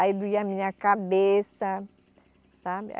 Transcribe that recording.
Aí doía a minha cabeça, sabe?